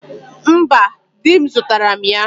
Mba di m zutara m ya